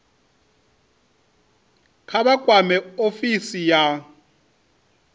kha vha kwame ofisi ya